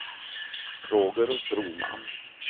Roger Broman